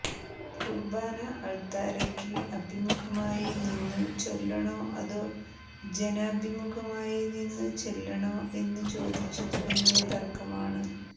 കുർബാന അൾത്താരക്ക് അഭിമുഖമായി നിന്നു ചൊല്ലണോ അതോ ജനഭിമുഖമായി നിന്നു ചെല്ലണോ എന്നു ചോദിച്ചു തുടങ്ങിയ തർക്കമാണ്